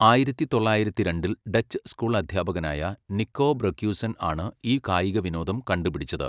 ആയിരത്തി തൊള്ളായിരത്തിരണ്ടിൽ Dutch school അദ്ധ്യാപകനായ നിക്കോ ബ്രൊക്യുസെൻ ആണ് ഈ കായിക വിനോദം കണ്ടുപിടിച്ചത്.